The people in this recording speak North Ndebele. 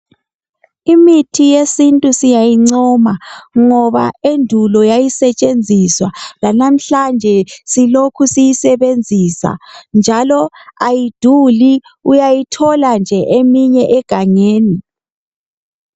Imithi yesintu siyayincoma ngoan endulo yayisetshenziswa, lalamhlanje silokhe siyisebenzisa, njalo ayiduli, uyayithola nje eminye egangeni.